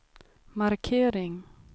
markering